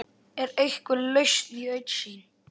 Er einhver lausn í augsýn?